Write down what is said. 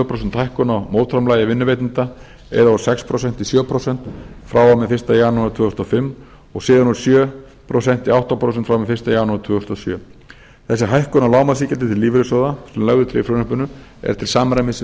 prósent hækkun á mótframlagi vinnuveitanda eða úr sex prósent í sjö prósent frá og með fyrsta janúar tvö þúsund og fimm og síðan úr sjö prósent í átta prósent frá og með fyrsta janúar tvö þúsund og sjö þessi hækkun á lágmarksiðgjaldi til lífeyrissjóða sem lögð er til í frumvarpinu er til samræmis við